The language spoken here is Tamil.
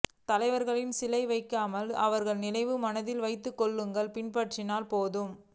தலைவர்களுக்கு சிலை வைக்காமல் அவர்கள் நினைவை மனதில் வைத்து கொள்கையை பின்பற்றினாலே போதும்